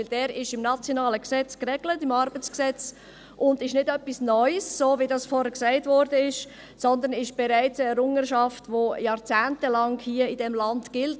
Denn dies ist im nationalen ArG geregelt und ist nicht etwas Neues, so wie dies vorhin gesagt wurde, sondern dies ist eine Errungenschaft, die hier in diesem Land bereits jahrzehntelang gilt.